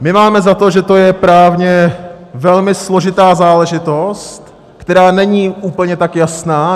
My máme za to, že to je právně velmi složitá záležitost, která není úplně tak jasná.